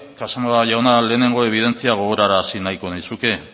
casanova jauna lehenengo ebidentzia gogorarazi nahiko nizuke